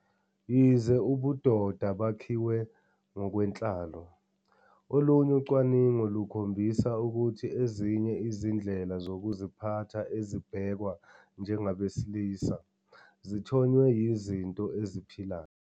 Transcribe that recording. Yize ubudoda bakhiwe ngokwenhlalo, olunye ucwaningo lukhombisa ukuthi ezinye izindlela zokuziphatha ezibhekwa njengabesilisa zithonywe yizinto eziphilayo.